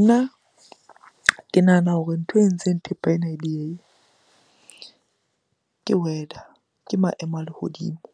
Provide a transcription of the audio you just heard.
Nna ke nahana hore ntho e entseng thepa ena e diehehe ke weather, ke maemo a lehodimo.